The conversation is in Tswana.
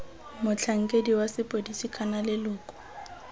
motlhankedi wa sepodisi kana leloko